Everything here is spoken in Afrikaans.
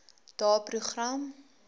daeprogram